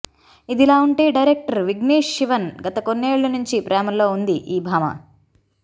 ఇదిలా ఉంటే డైరెక్టర్ విఘ్నేష్ శివన్ గత కొన్నేళ్ల నుంచి ప్రేమలో ఉంది ఈ భామ